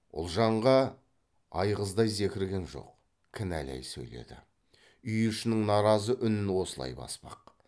ұлжанға айғыздай зекірген жоқ кінәлай сөйледі үй ішінің наразы үнін осылай баспақ